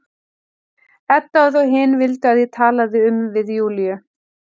Edda og þau hin vildu að ég talaði um við Júlíu.